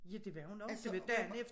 Ja det var hun også og hun var